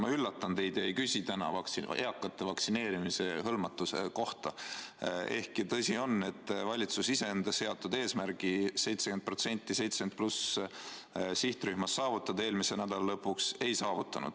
Ma üllatan teid ega küsi täna eakate vaktsineerimisega hõlmatuse kohta, ehkki tõsi on, et valitsus enda seatud eesmärki saavutada 70+ sihtrühma 70%-line eelmise nädala lõpuks ei saavutanud.